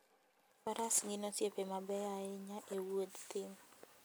Faras gin osiepe mabeyo ahinya e wuodh thim.